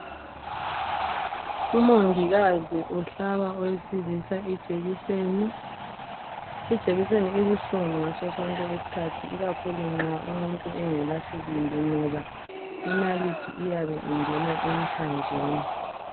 Umongikazi uhlaba owesilisa ijekiseni. Ijekiseni ibuhlungu ngaso sonke isikhathi ikakhulu nxa umuntu engelasibindi ngoba inalithi iyabe ingena emthanjeni.